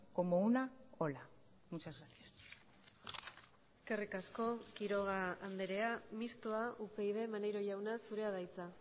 como una ola muchas gracias eskerrik asko quiroga andrea mistoa upyd maneiro jauna zurea da hitza